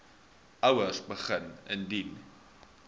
ouers begin indien